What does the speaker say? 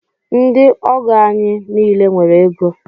Ndị ọgọ anyị niile nwere égo.